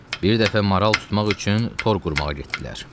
Bir dəfə maral tutmaq üçün tor qurmağa getdilər.